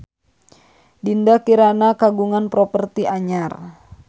Dinda Kirana kagungan properti anyar